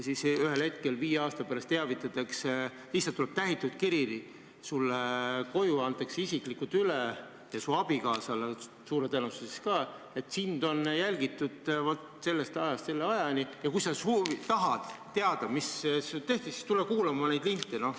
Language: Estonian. Ühel hetkel viie aasta pärast teavitatakse, st lihtsalt tuleb tähitud kiri, see antakse isiklikult üle ja su abikaasale suure tõenäosusega ka, ja sealt selgub, et sind on jälgitud sellest ajast selle ajani, ning kui sa tahad teada, mis tehti, siis tule kuula neid linte.